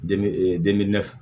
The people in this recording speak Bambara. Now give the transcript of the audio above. De ee